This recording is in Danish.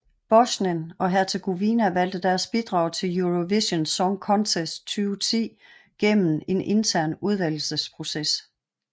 Bosnien og Hercegovina valgte deres bidrag til Eurovision Song Contest 2010 gennem en intern udvælgelsesproces